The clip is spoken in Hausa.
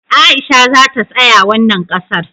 Aisha za ta saya wannan ƙasar